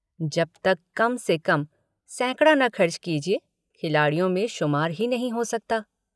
जब तक कम से कम सैकड़ा न खर्च कीजिए खिलाड़ियों में शुमार ही नहीं हो सकता।